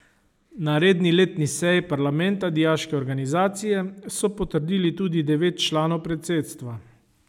Na redni letni seji parlamenta dijaške organizacije so potrdili tudi devet članov predsedstva.